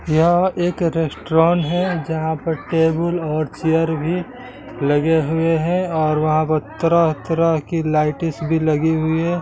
यह एक रेस्टोरेंट है जहां पर टेबल और चेयर भी लगे हुए हैं और वहां पर तरह-तरह की लेटेस्ट भी लगी हुई है।